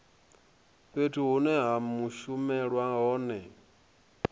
fhethu hune ha shumelwa hone